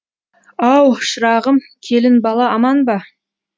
ау шырағым келін бала аман ба